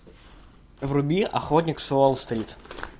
вруби охотник с уолл стрит